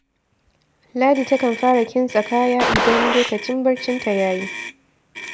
Ladi takan fara kintsa kaya idan lokacin barcinta ya yi